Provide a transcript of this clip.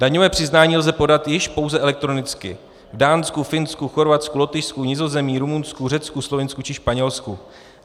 Daňové přiznání lze podat již pouze elektronicky v Dánsku, Finsku, Chorvatsku, Lotyšsku, Nizozemí, Rumunsku, Řecku, Slovinsku či Španělsku.